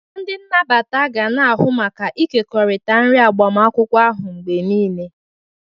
Ndị nnabata ga na-ahụ maka ịkekọrịta nri agbamakwụkwọ ahụ mgbe niile.